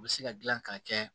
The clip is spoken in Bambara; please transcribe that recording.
U bɛ se ka dilan k'a kɛ